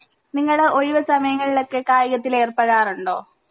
നിങ്ങൾ ഒഴിവ് സമയങ്ങളിലൊക്കെ കായികത്തിൽ ഏർപ്പെടാറുണ്ടോ